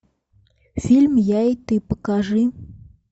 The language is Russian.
фильм я и ты покажи